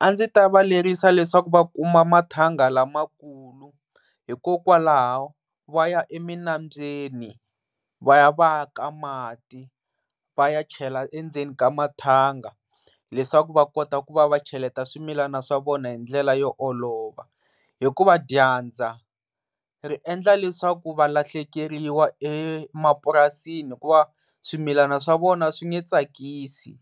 A ndzi ta va lerisa leswaku va kuma mathanga lamakulu hikokwalaho va ya eminambyeni va ya va yaka mati va ya chela endzeni ka mathanga leswaku va kota ku va va cheleta swimilana swa vona hi ndlela yo olova. Hikuva dyandza endla leswaku valahlekeriwa emapurasini hikuvava swimilana swa vona a swi nge tsakisi